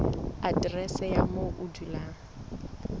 aterese ya moo o dulang